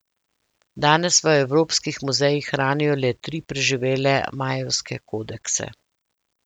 Danes v evropskih muzejih hranijo le tri preživele majevske kodekse.